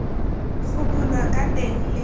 go bulwa ka teng le